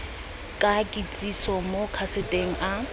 ka kitsiso mo kaseteng a